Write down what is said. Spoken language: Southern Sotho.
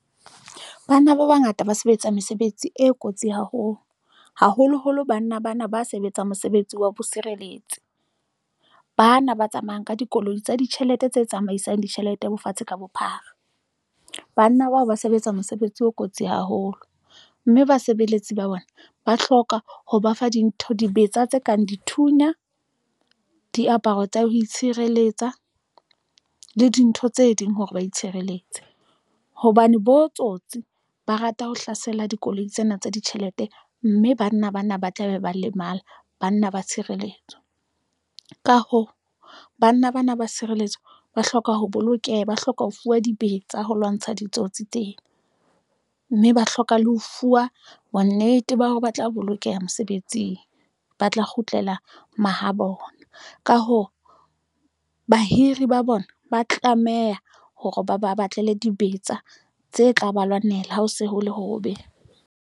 Banna ba bangata ba sebetsa mesebetsi e kotsi haholo, haholoholo banna bana ba sebetsang mosebetsi wa bo sireletse bana ba tsamayang ka dikoloi tsa ditjhelete tse tsamaisang ditjhelete bo fatshe ka bophara. Banna bao ba sebetsa mosebetsi o kotsi haholo mme basebeletsi ba bona ba hloka ho ba fa dintho dibetsa tse kang dithunya, diaparo tsa ho itshireletsa le dintho tse ding hore ba itshireletse hobane bo tsotsi ba rata ho hlasela dikoloi tsena tsa ditjhelete, mme banna bana ba tlabe ba lemala. Banna ba tshireletso ka hoo banna bana ba tshireletso ba hloka ho bolokeha, ba hloka ho fuwa dibetsa ho lwantsha ditsotsi tsena mme ba hloka le ho fuwa bonnete ba hore ba tla bolokeha mosebetsing, ba tla kgutlela mahabona. Ka hoo, bahiri ba bona ba tlameha hore ba ba batlele dibetsa tse tla ba lwanela. Ha ho se ho le hobe.